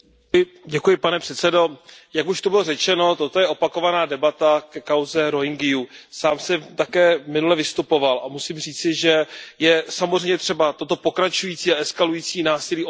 Pane předsedající, jak už zde bylo řečeno, toto je opakovaná debata ke kauze Rohingyů. Sám jsem minule také vystupoval a musím říci, že je samozřejmě třeba toto pokračující a eskalující násilí odsoudit.